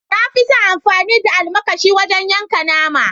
Na fi son yin amfani da almakashi wajen yankan nama.